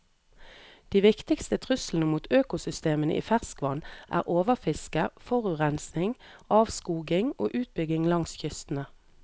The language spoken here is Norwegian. De viktigste truslene mot økosystemene i ferskvann er overfiske, forurensning, avskoging og utbygging langs kystene.